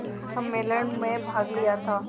सम्मेलन में भाग लिया था